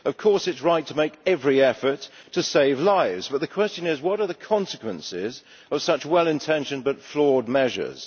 Of course, it is right to make every effort to save lives, but the question is what are the consequences of such well intentioned but flawed measures.